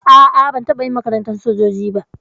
A'a ban taɓa yin makarantar sojoji ba.